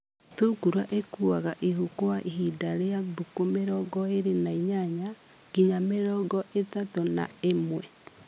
Thungura ĩkuaga ihu kwa ihinda rĩa thikũ mĩrongo ĩrĩ na inyanya nginya mĩrongo ĩtatũ na ĩmwe.